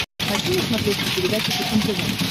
хочу на смотрешке передачу фэшен тв